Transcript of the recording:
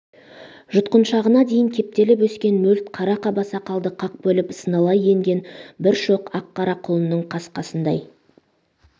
жұтқыншағына дейін кептеліп өскен мөлт қара қаба сақалды қақ бөліп сыналай енген бір шоқ ақ қара құлынның қасқасындай